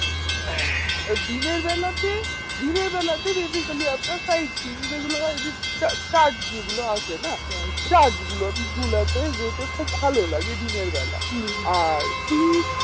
এ দিনেরবেলাতে দিনেরবেলাতে দেখবে খালি আপনার side scene যে গুলো হয় যে চা~ church গুলো আসে না church গুলো গুলাতে যেতে খুব ভালো লাগে দিনের বেলা আর